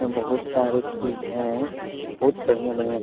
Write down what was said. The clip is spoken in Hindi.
यहाँ बहुत सारे चीज है बहुत बढ़िया-बढ़िया --